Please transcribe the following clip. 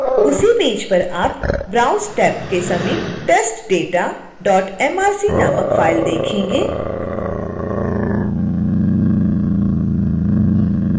उसी पेज पर आप browse टैब के समीप testdatamrc नामक फाइल देंखेंगे